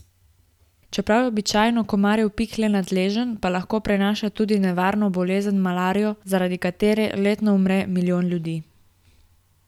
Čeprav je običajno komarjev pik le nadležen, pa lahko prenaša tudi nevarno bolezen malarijo, zaradi katere letno umre milijon ljudi.